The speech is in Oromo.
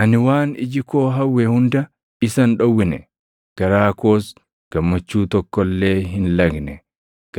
Ani waan iji koo hawwe hunda isa hin dhowwine; garaa koos gammachuu tokko illee hin lagne.